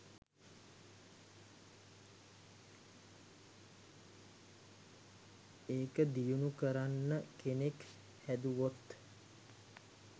එක දියුනු කරන්න කෙනෙක් හැදුවොත්